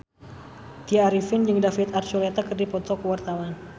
Tya Arifin jeung David Archuletta keur dipoto ku wartawan